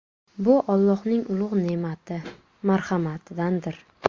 Bu Allohning ulug‘ ne’mati, marhamatidandir.